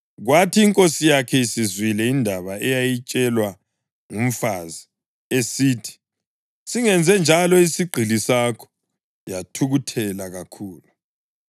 Kwathi inkosi yakhe isizwile indaba eyayitshelwa ngumfazi esithi, “Singenze njalo isigqili sakho,” yathukuthela kakhulu.